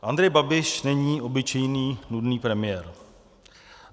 Andrej Babiš není obyčejný nudný premiér.